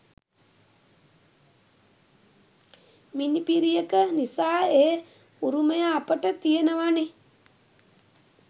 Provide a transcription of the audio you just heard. මිණිපිරියක නිසා ඒ උරුමය අපට තියෙනවනෙ.